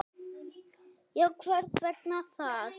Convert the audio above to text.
En hvers vegna það?